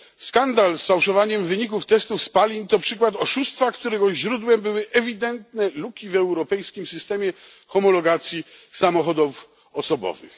Skandal z fałszowaniem wyników testów spalin to przykład oszustwa, którego źródłem były ewidentne luki w europejskim systemie homologacji samochodów osobowych.